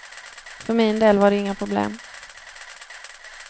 För min del var det inga problem.